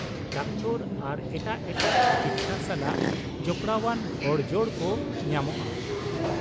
Doctor ᱟᱨ ᱮᱴᱟᱜ ᱮᱴᱟᱜ ᱛᱤᱠᱤᱪᱪᱷᱟ ᱥᱟᱞᱟᱜ ᱡᱚᱯᱲᱟᱣᱟᱱ ᱦᱚᱲ ᱡᱚᱲ ᱠᱚ ᱧᱟᱢᱚᱜᱼᱟ ᱾